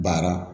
Baara